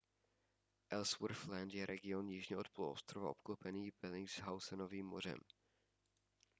ellsworth land je region jižně od poloostrova obklopený bellingshausenovým mořem